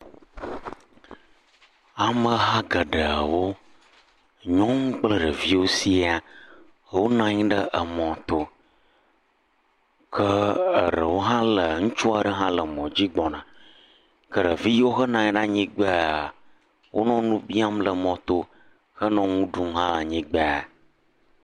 Ameha geɖewo nyɔnu kple ɖeviawo siaa, wonɔ anyi ɖe emɔto ke eɖewo hã le ŋutsu aɖe hã le emɔ dzi gbɔna ke ɖevi yiwo henɔ anyi ɖe anyigbaa wonɔ nu biam le mɔto henɔ nu ɖum le anyigba.